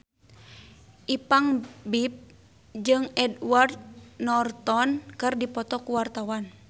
Ipank BIP jeung Edward Norton keur dipoto ku wartawan